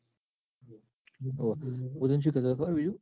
હું તન સુ કેતો બીજું ખબર?